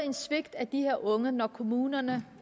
et svigt af de her unge når kommunerne